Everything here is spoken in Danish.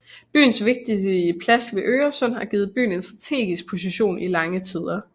Byens vigtige plads ved Øresund har givet byen en strategisk position i lange tider